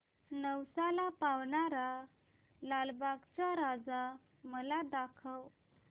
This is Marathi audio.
नवसाला पावणारा लालबागचा राजा मला दाखव